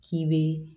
K'i be